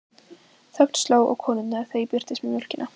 Þögn sló á konurnar þegar ég birtist með mjólkina.